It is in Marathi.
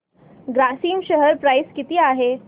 ग्रासिम शेअर प्राइस किती आहे